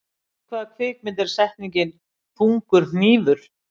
Í hvaða kvikmynd er settningin, þungur hnífur?